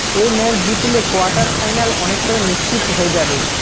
এ match জিতলে quarter final অনেকটাই নিশ্চিত হয়ে যাবে